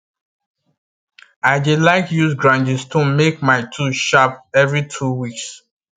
i dey like use grinding stone make my tools sharp evvery two weeks